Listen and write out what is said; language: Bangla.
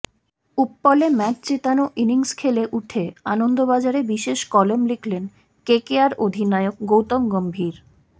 উপ্পলে ম্যাচ জেতানো ইনিংস খেলে উঠে আনন্দবাজারে বিশেষ কলাম লিখলেন কেকেআর অধিনায়ক গৌতম গম্ভীর